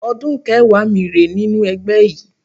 Ọdún kẹẹ̀wá mi rèé nínú ẹgbẹ́ yìí